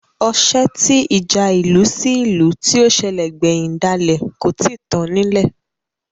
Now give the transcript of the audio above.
Osẹ́ tí ìjà ìlú sí ìlú tí ó sẹ̀lẹ̀ gbẹ̀hìn dálẹ̀ kò tíì tán nílẹ̀